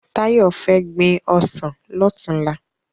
Tayo fè gbin òsán lòtúnlá